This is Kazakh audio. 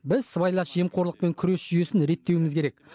біз сыбайлас жемқорлықпен күрес жүйесін реттеуіміз керек